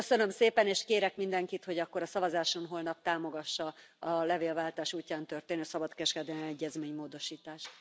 Köszönöm szépen, és kérek mindenkit, hogy akkor a szavazáson holnap támogassa a levélváltás útján történő szabadkereskedelmi egyezmény módosítását.